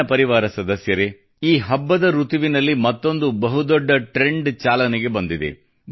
ನನ್ನ ಪರಿವಾರ ಸದಸ್ಯರೇ ಈ ಹಬ್ಬದ ಋತುವಿನಲ್ಲಿ ಮತ್ತೊಂದು ಬಹುದೊಡ್ಡ ಟ್ರೆಂಡ್ ಚಾಲನೆಗೆ ಬಂದಿದೆ